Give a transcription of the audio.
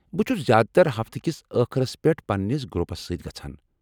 بہٕ چُھس زیٛادٕ تر ہفتہٕ كِس ٲخرس پٮ۪ٹھ پننس گروپس سۭتۍ گژھان ۔